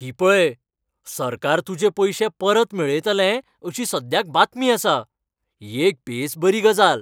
ही पळय, सरकार तुजे पयशे परत मेळयतलें अशी सद्याक बातमी आसा. ही एक बेसबरी गजाल.